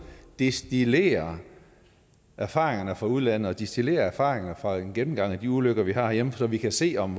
destillere erfaringerne fra udlandet og destillere erfaringer fra en gennemgang af de ulykker vi har herhjemme så vi kan se om